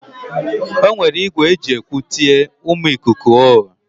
O were igwe e ji ekwu tie: Umu ikuku o!